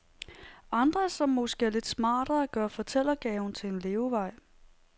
Andre, som måske er lidt smartere, gør fortællegaven til en levevej.